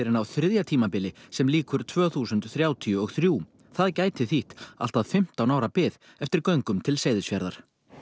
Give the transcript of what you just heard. en á þriðja tímabili sem líkur tvö þúsund þrjátíu og þrjú það gæti þýtt allt að fimmtán ára bið eftir göngum til Seyðisfjarðar